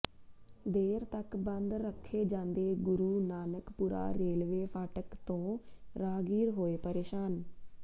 ਦੇਰ ਤੱਕ ਬੰਦ ਰੱਖੇ ਜਾਂਦੇ ਗੁਰੂ ਨਾਨਕਪੁਰਾ ਰੇਲਵੇ ਫਾਟਕ ਤੋਂ ਰਾਹਗੀਰ ਹੋਏ ਪ੍ਰੇਸ਼ਾਨ